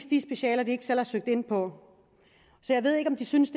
de specialer de ikke selv har søgt ind på så jeg ved ikke om de synes